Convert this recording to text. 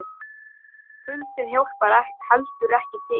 Kuldinn hjálpar heldur ekki til.